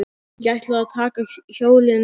Ég ætla að taka hjólið núna.